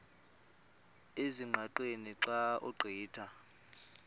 ezingqaqeni xa ugqitha